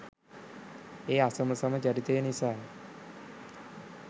ඒ අසමසම චරිතය නිසාය.